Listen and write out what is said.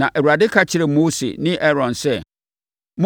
na Awurade ka kyerɛɛ Mose ne Aaron sɛ,